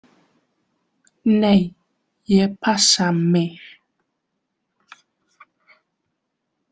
Nei, ég passa mig.